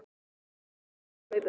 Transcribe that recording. Það hrökk ofan í mig á hlaupunum.